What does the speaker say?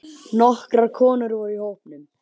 Nokkrar konur voru í hópnum.